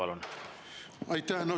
Aitäh!